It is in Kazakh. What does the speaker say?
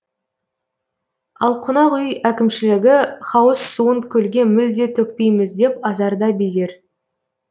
ал қонақ үй әкімшілігі хауыз суын көлге мүлде төкпейміз деп азарда безер